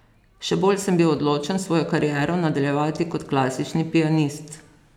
Še bolj sem bil odločen svojo kariero nadaljevati kot klasični pianist.